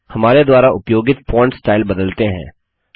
अब हमारे द्वारा उपयोगित फॉन्ट स्टाइल बदलते हैं